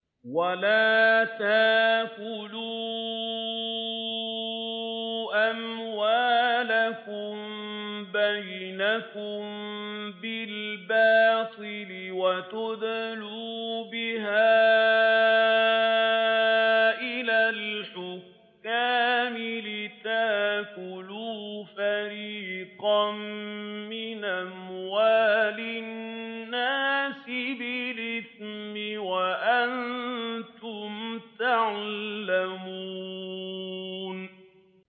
وَلَا تَأْكُلُوا أَمْوَالَكُم بَيْنَكُم بِالْبَاطِلِ وَتُدْلُوا بِهَا إِلَى الْحُكَّامِ لِتَأْكُلُوا فَرِيقًا مِّنْ أَمْوَالِ النَّاسِ بِالْإِثْمِ وَأَنتُمْ تَعْلَمُونَ